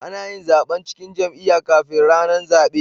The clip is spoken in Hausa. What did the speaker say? Anayin zaban cikin jam'iya kafin rAnan zabe